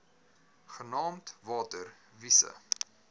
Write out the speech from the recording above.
genaamd water wise